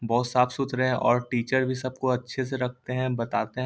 बहुत साफ सुथरे है और टीचर भी सबको अच्छे से रखते है बताते है।